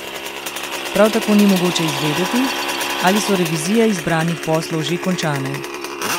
Prav tako ni mogoče izvedeti, ali so revizije izbranih poslov že končane.